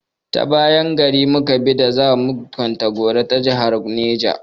Ta bayan gari mu ka bi da za mu kwantagora na jahar Neja.